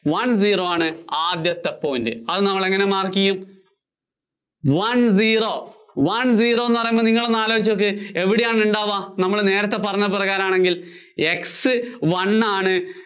one zero ആണ് ആദ്യത്തെ point. അത് നമ്മള്‍ എങ്ങിനെ mark ചെയ്യും? one zero, one zero എന്ന് പറയുമ്പോ നിങ്ങള് ഒന്ന് ആലോചിച്ച് നോക്ക് എവിടെയാണ് ഉണ്ടാവുക നമ്മള്‍ നേരത്തെ പറഞ്ഞ പ്രകാരം ആണെങ്കില്‍? X one ആണ്